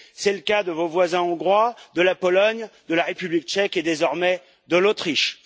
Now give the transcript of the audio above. C'est le cas de vos voisins hongrois, de la Pologne, de la République tchèque et, désormais, de l'Autriche.